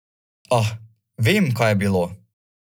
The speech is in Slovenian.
Ah, vem, kaj je bilo!